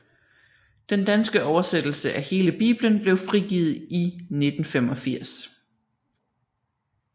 Den danske oversættelse af hele Bibelen blev frigivet i 1985